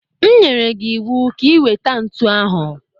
M nyere m gi iwu ka i weta ntụ ahụ!